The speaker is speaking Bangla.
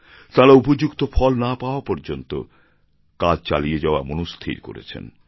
তাঁরা উপযুক্ত ফল না পাওয়া পর্যন্ত কাজ চালিয়ে যাওয়া মনস্থির করেছেন